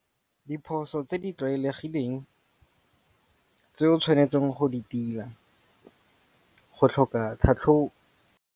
Diphoso tse di tlwaelegileng tse o tshwanetseng go di tila go tlhoka .